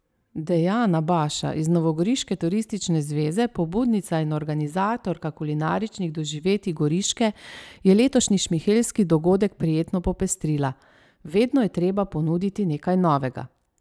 Dejana Baša iz novogoriške Turistične zveze, pobudnica in organizatorka kulinaričnih doživetij Goriške, je letošnji šmihelski dogodek prijetno popestrila: 'Vedno je treba ponuditi nekaj novega.